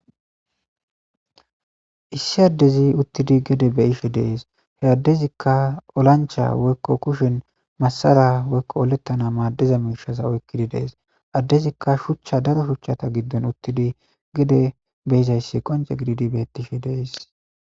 issi addezi uttidi gede beishe dees he addezikka olancha woykko kushen masara woykko olettana maaddiza miishaza oykkidi dees addezikka shuchcha daro shuchchata giddon uttidi gede beyizayssi qonce gididi bettishe dees